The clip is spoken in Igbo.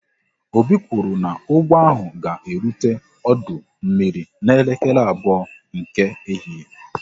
Obi kwụrụ n'ụgbọ ahụ ga erute ọdụ mmiri n'elekere abụọ nke ehihie